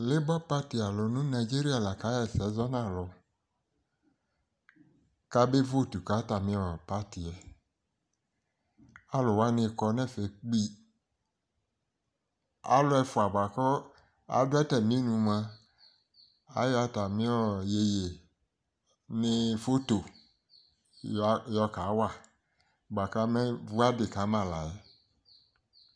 leba pati alo no Nigeria la ka ɣa ɛsɛ zɔ no alo kabe votu ka atami pati yɛ ko alo wani kɔ no ɛfɛ kpi alo ɛfoa boa ko ado atami nu moa ayɔ atami yeye ne foto yɔ ka wa boa ko amevu adi ka ma la yɛ